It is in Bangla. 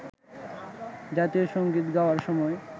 জাতীয় সঙ্গীত গাওয়ার সময়